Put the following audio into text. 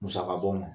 Musaka bɔ ma